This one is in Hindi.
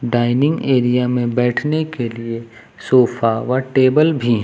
डायनिंग एरिया में बैठने के लिए सोफा व टेबल भी हैं।